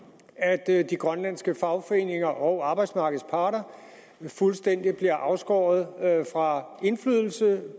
er at de grønlandske fagforeninger og arbejdsmarkedets parter fuldstændig bliver afskåret fra indflydelse